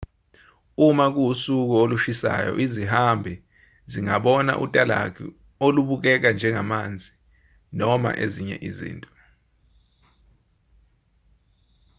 uma kuwusuku olushisayo izihambi zingabona utalagu olubukeka njengamanzi noma ezinye izinto